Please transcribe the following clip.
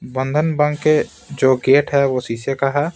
बंधन बैंक य जो गेट हैवो शीशे का है।